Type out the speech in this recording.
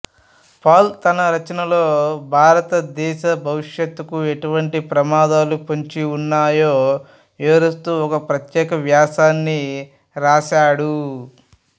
Paul తన రచనలలో భారత దేశ భవిష్యత్తుకు ఎటువంటి ప్రమాదాలు పొంచి ఉన్నాయో వివరిస్తూ ఒక ప్రత్యేక వ్యాసాన్ని రాశాడు